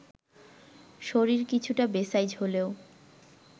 শরীর কিছুটা বেসাইজ হলেও